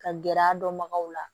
Ka gɛrɛ a dɔnbagaw la